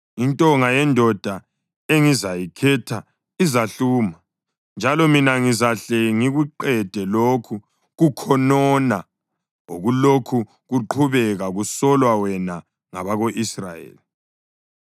Intonga yendoda engizayikhetha izahluma, njalo mina ngizahle ngikuqede lokhu kukhonona okulokhu kuqhubeka kusolwa wena ngabako-Israyeli.”